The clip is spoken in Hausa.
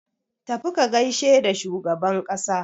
Tafi ka gaishe da shugaban ƙasa!